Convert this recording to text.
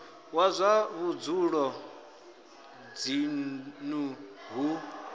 wa zwa vhudzulo dzinnu hu